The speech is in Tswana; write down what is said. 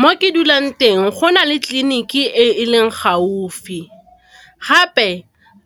Mo ke dulang teng go na le tliliniki e leng gaufi, gape